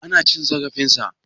Ana cin zarafin sa?